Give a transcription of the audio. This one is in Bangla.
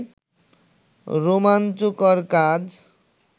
রোমাঞ্চকর কাজ